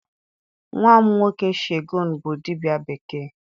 Nwam nwoke Shegun bu dibia bekee.